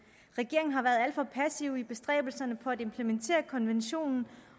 regeringen har været alt for passiv i bestræbelserne på at implementere konventionen